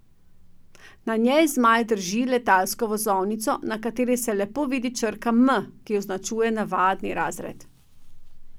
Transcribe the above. Na njej Zmaj drži letalsko vozovnico, na kateri se lepo vidi črka M, ki označuje navadni razred.